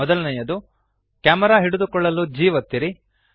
ಮೊದಲನೆಯದು ಕ್ಯಾಮೆರಾ ಹಿಡಿದುಕೊಳ್ಳಲು G ಒತ್ತಿರಿ